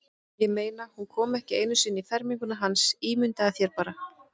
Ég meina, hún kom ekki einu sinni í ferminguna hans, ímyndaðu þér bara.